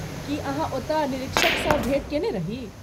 की अहाँ ओतय निरीक्षकसँ भेँट कयने रही?